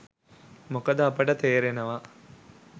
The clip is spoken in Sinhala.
මොකද අපට තේරෙනවා